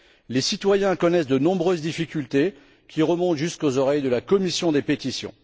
Les citoyens connaissent de nombreuses difficultés, qui reviennent souvent jusqu'aux oreilles de la commission des pétitions.